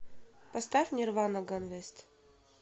поставь нирвана ганвест